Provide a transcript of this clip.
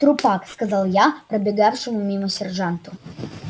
трупак сказал я пробегавшему мимо сержанту